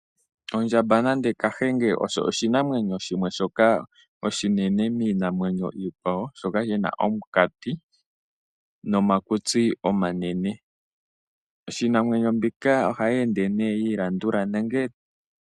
Oondjamba nande kahenge osho oshinamwenyo shoka oshi nene kiikwawo